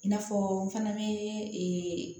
I n'a fɔ n fana bɛ